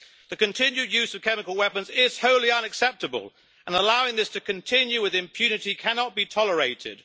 The continued use of chemical weapons is wholly unacceptable, and allowing this to continue with impunity cannot be tolerated.